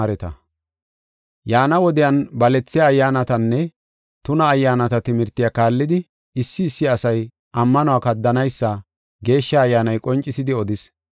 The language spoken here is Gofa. Yaana wodiyan balethiya ayyaanatanne tuna ayyaanata timirte kaallidi, issi issi asay ammanuwa kaddanaysa Geeshsha Ayyaanay qoncisidi odis.